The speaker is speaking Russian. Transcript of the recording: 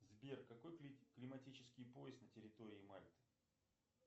сбер какой климатический пояс на территории мальты